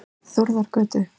Þórðargötu